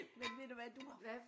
Men ved du hvad du har